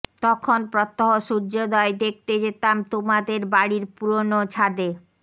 তখন প্রত্যহ সূর্যোদয় দেখতে যেতাম তোমাদের বাড়ির পুরনো ছাদে